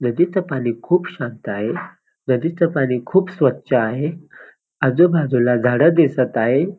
नदीचं पाणी खूप शांत आहे नदीचं पाणी खूप स्वच्छ आहे आजूबाजूला झाडं दिसत आहे.